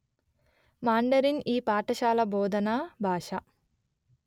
Mandarin ఈ పాఠశాల బోధనా భాష